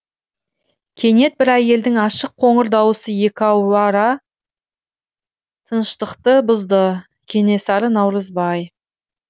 кенет бір әйелдің ашық қоңыр дауысы тыныштықты бұзды кенесары наурызбай